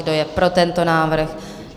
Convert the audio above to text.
Kdo je pro tento návrh?